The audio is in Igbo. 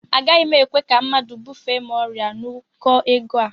Agaghị m ekwe ka mmadụ bufee m ọrịa n'ụkọ ego a